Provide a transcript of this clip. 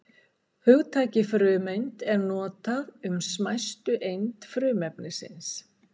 Hugtakið frumeind er notað um smæstu eind frumefnis.